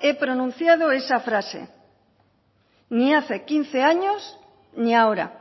he pronunciado esa frase ni hace quince años ni ahora